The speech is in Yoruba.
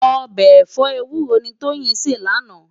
Òbè ẹfọ éwúró ni Toyin sé làná